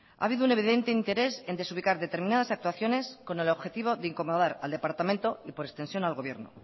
ha habido un evidente interés en desubicar determinadas actuaciones con el objetivo de incomodar al departamento y por extensión al gobierno